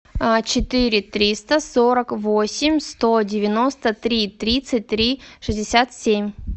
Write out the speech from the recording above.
четыре триста сорок восемь сто девяносто три тридцать три шестьдесят семь